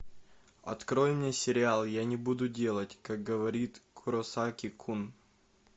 открой мне сериал я не буду делать как говорит куросаки кун